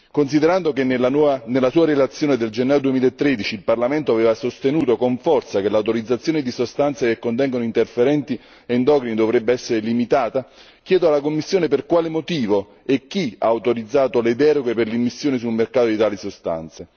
Considerando che nella sua relazione del gennaio 2013 il Parlamento aveva sostenuto con forza che l'autorizzazione di sostanze che contengono interferenti endocrini dovrebbe essere limitata, chiedo alla Commissione per quale motivo e chi ha autorizzato le deroghe per l'immissione sul mercato di tali sostanze.